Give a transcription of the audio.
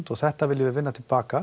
og þetta viljum við vinna til baka